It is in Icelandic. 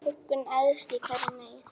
Þú huggun æðst í hverri neyð,